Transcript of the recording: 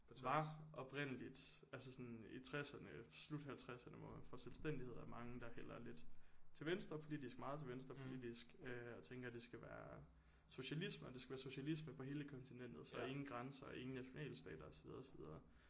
På tværs oprindeligt altså sådan i tresserne slut halvtresserne hvor man får selvstændighed er der mange der hælder lidt til venstre politisk meget til venstre politisk øh og tænker det skal være socialisme og det skal være socialisme på hele kontinentet så ingen grænser ingen nationalstater og så videre og så videre